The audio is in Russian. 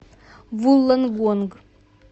вуллонгонг